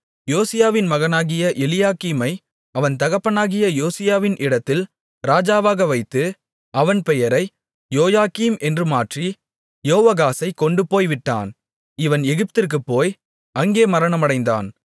யோசியாவின் மகனாகிய எலியாக்கீமை அவன் தகப்பனாகிய யோசியாவின் இடத்தில் ராஜாவாக வைத்து அவன் பெயரை யோயாக்கீம் என்று மாற்றி யோவாகாசைக் கொண்டுபோய் விட்டான் இவன் எகிப்திற்குப் போய் அங்கே மரணமடைந்தான்